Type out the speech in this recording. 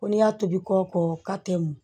Ko n'i y'a tobi kɔ kɔ tɛ m